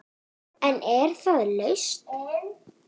En er það lausn?